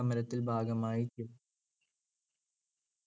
സമരത്തിൽ ഭാഗമായി